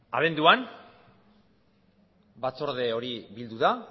abenduan batzorde hori bildu da